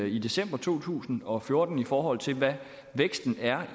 i december to tusind og fjorten i forhold til hvad væksten er